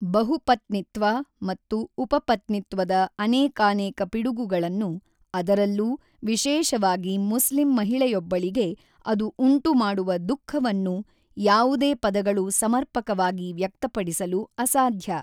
ಬಹುಪತ್ನಿತ್ವ ಮತ್ತು ಉಪಪತ್ನಿತ್ವದ ಅನೇಕಾನೇಕ ಪಿಡುಗುಗಳನ್ನು, ಅದರಲ್ಲೂ ವಿಶೇಷವಾಗಿ ಮುಸ್ಲಿಂ ಮಹಿಳೆಯೊಬ್ಬಳಿಗೆ ಅದು ಉಂಟುಮಾಡುವ ದುಃಖವನ್ನು ಯಾವುದೇ ಪದಗಳು ಸಮರ್ಪಕವಾಗಿ ವ್ಯಕ್ತಪಡಿಸಲು ಅಸಾಧ್ಯ.